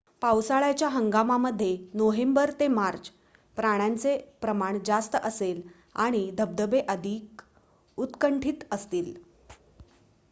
पावसाळ्याच्या हंगामामध्ये नोव्हेंबर ते मार्च पाण्याचे प्रमाण जास्त असेल आणि धबधबे अधिक उत्कंठित असतील